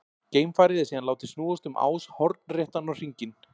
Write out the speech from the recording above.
Geimfarið er síðan látið snúast um ás hornréttan á hringinn.